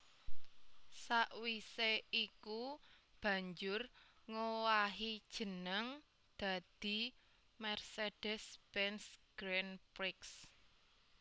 Sawisé iku banjur ngowahi jeneng dadi Mercedes Benz Grand Prix